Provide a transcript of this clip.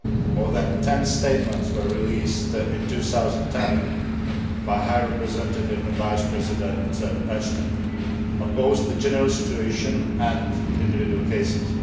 more than ten statements were released in 2010 by High Representative and Vice President Ashton on both the general situation and on individual cases.